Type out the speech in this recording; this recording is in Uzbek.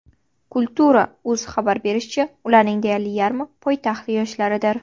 Kultura.uz xabar berishicha , ularning deyarli yarmi poytaxt yoshlaridir.